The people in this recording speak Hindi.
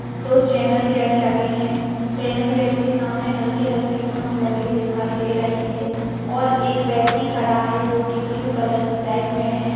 दो चैनल गेट लगे हैं चैनल गेट के सामने हल्‍की-हल्‍की घास लगी दिखाई दे रही है और एक व्यक्ति खड़ा है जो कि ब्लू कलर की शर्ट में हैं।